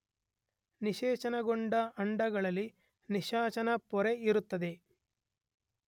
ನಿಶೇಚನಗೊಂಡ ಅಂಡಗಳಲ್ಲಿ ನಿಶಾಚನಾ ಪೊರೆ ಇರುತ್ತದೆ.